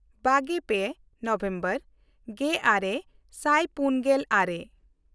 ᱵᱟᱜᱮᱼᱯᱮ November ᱜᱮᱼᱟᱨᱮ ᱥᱟᱭ ᱯᱩᱱᱜᱮᱞ ᱟᱨᱮ